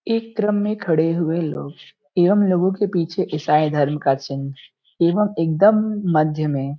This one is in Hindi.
एक क्रम में खड़े हुए लोग एवं लोगों के पीछे ईसाई धर्म का चिन्ह एवं एकदम मध्य में ।